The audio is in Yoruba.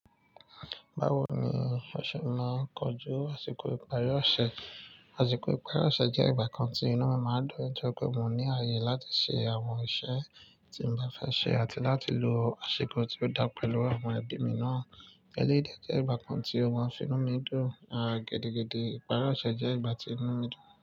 Báwo ni ó ṣe máa kọjú àsìkò ìparí ọ̀ṣẹ̀? Àsìkò ìparí ọ̀ṣẹ̀ jẹ́ ìgbà kan tí inu mi máa ń dún nitoripé mo ní ààyè láti ṣe àwọn iṣẹ́ tí mo bá fẹ́ ṣe àti láti lo àsìkò tí ó dá pẹ̀lú àwọn ẹbí mi náà. Elédè jẹ́ ìgbà kan tí ọ maa fi nu mi dùn, à gidigidi ìparí ọ̀ṣẹ̀ jẹ́ ìgbà tí inu mi dùn.